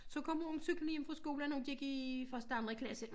Så kom hun cyklende hjem fra skole når hun gik i første anden klasse